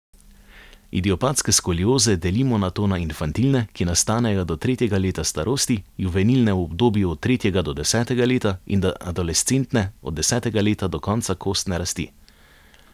Idiopatske skolioze delimo nato na infantilne, ki nastanejo do tretjega leta starosti, juvenilne v obdobju od tretjega do desetega leta in adolescentne od desetega leta do konca kostne rasti.